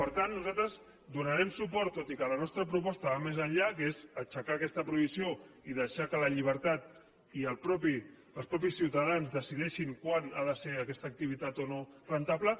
per tant nosaltres donarem suport tot i que la nostra proposta va més enllà que és aixecar aquesta prohibició i deixar que la llibertat i els mateixos ciutadans decideixin quan ha de ser aquesta activitat o no rendible